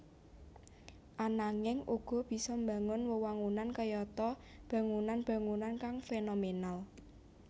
Ananging uga bisa mbangun wewangunan kayata bangunan bangunan kang fénomènal